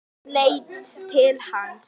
Hún leit til hans.